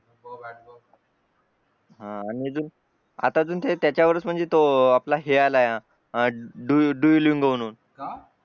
हा आणि अजून आता अजून त्याच्यावरच म्हणजे तो आपला हे आला आहे Duolingo म्हणुन